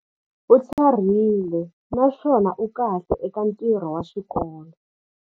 U tlharihile naswona u kahle eka ntirho wa xikolo.